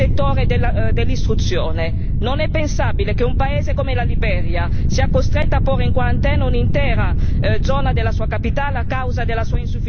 Non è pensabile che un paese come la Liberia sia costretto a porre in quarantena un'intera zona della sua capitale a causa della sua insufficienza di servizi sanitari adeguati.